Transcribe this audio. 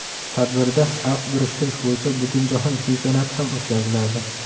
Tadbirda aft burishtirish bo‘yicha butunjahon chempionati ham o‘tkaziladi.